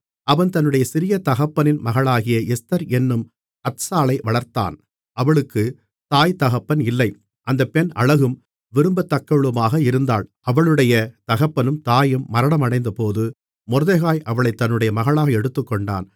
அவன் தன்னுடைய சிறிய தகப்பனின் மகளாகிய எஸ்தர் என்னும் அத்சாளை வளர்த்தான் அவளுக்குத் தாய்தகப்பன் இல்லை அந்தப் பெண் அழகும் விரும்பத்தக்கவளுமாக இருந்தாள் அவளுடைய தகப்பனும் தாயும் மரணமடைந்தபோது மொர்தெகாய் அவளைத் தன்னுடைய மகளாக எடுத்துக்கொண்டான்